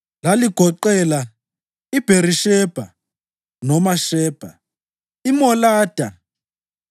Laligoqela: iBherishebha (noma Shebha), iMolada,